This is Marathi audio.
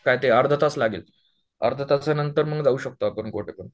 काय ते अर्धा तास लागेल अर्धा तास नंतर मग जाऊ शकतो आपण